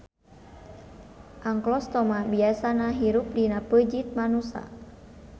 Anklostoma biasana hirup dina peujit manusa.